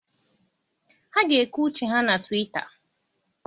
Ha ga-ekwu uche ha na Twịta.